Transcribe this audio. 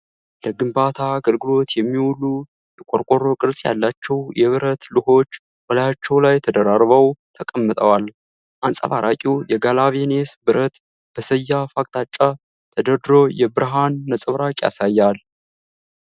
ለግንባታ አገልግሎት የሚውሉ፣ የቆርቆሮ ቅርጽ ያላቸው የብረት ሉሆች በላያቸው ላይ ተደራርበው ተቀምጠዋል። አንጸባራቂው የጋለቫኒየስ ብረት በሰያፍ አቅጣጫ ተደርድሮ የብርሃን ነጸብራቅ ያሳያል።